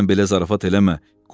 Mənnən belə zarafat eləmə.